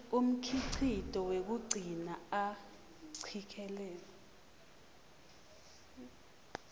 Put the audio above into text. umkhicito wekugcina acikelela